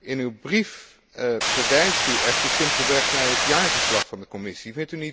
In uw brief verwijst u echter simpelweg naar het jaarverslag van de Commissie.